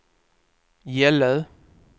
Gällö